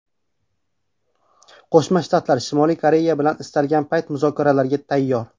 Qo‘shma Shtatlar Shimoliy Koreya bilan istalgan payt muzokaralarga tayyor.